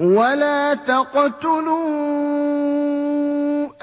وَلَا تَقْتُلُوا